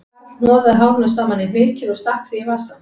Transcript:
Karl hnoðaði hárinu saman í hnykil og stakk því í vasann